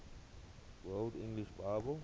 world english bible